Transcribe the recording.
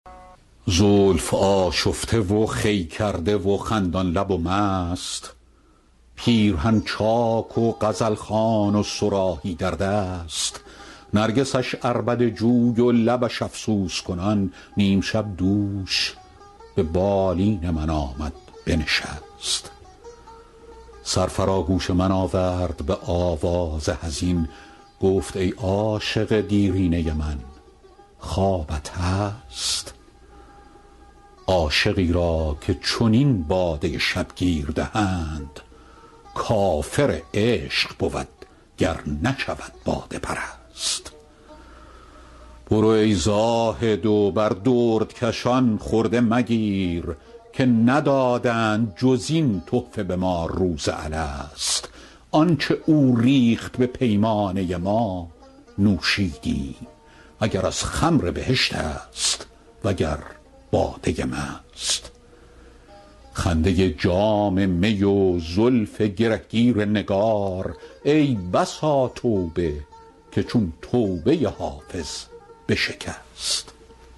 زلف آشفته و خوی کرده و خندان لب و مست پیرهن چاک و غزل خوان و صراحی در دست نرگسش عربده جوی و لبش افسوس کنان نیم شب دوش به بالین من آمد بنشست سر فرا گوش من آورد به آواز حزین گفت ای عاشق دیرینه من خوابت هست عاشقی را که چنین باده شبگیر دهند کافر عشق بود گر نشود باده پرست برو ای زاهد و بر دردکشان خرده مگیر که ندادند جز این تحفه به ما روز الست آن چه او ریخت به پیمانه ما نوشیدیم اگر از خمر بهشت است وگر باده مست خنده جام می و زلف گره گیر نگار ای بسا توبه که چون توبه حافظ بشکست